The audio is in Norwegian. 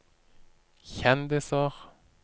kjendiser